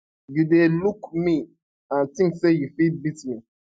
you dey look me and tink say you fit beat me